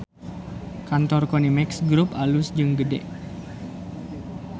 Kantor Konimex Grup alus jeung gede